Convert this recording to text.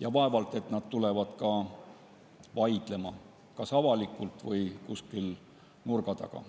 ja vaevalt et nad hakkavad vaidlema, kas avalikult või kuskil nurga taga.